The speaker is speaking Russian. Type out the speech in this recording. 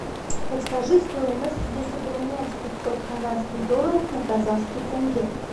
подскажи стоимость если поменять пятьсот канадских долларов на казахский тенге